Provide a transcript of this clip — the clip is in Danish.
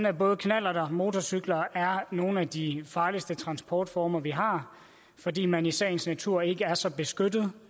at både knallerter og motorcykler er nogle af de farligste transportformer vi har fordi man i sagens natur ikke er så beskyttet